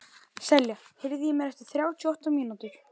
Selja, heyrðu í mér eftir þrjátíu og átta mínútur.